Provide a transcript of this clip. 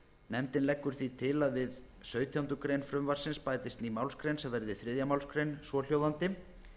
nefndin leggur því til að við sautjándu grein frumvarpsins bætist ný málsgrein sem verði þriðju málsgrein svohljóðandi